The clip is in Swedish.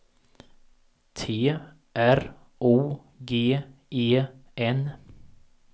T R O G E N